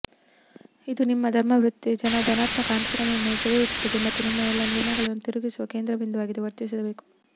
ಇದು ನಿಮ್ಮ ವೃತ್ತಿಜೀವನದ ಧನಾತ್ಮಕ ಆಕಾಂಕ್ಷೆಗಳನ್ನು ಸೆರೆಹಿಡಿಯುತ್ತದೆ ಮತ್ತು ನಿಮ್ಮ ಎಲ್ಲ ನಿರ್ಣಯಗಳನ್ನು ತಿರುಗಿಸುವ ಕೇಂದ್ರಬಿಂದುವಾಗಿ ವರ್ತಿಸಬೇಕು